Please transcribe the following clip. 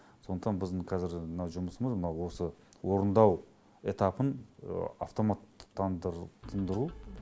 сондықтан біздің қазіргі мына жұмысымыз мына осы орындау этапын автоматтандыртындыру